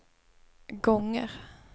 gånger